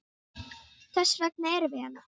Þess vegna erum við hérna!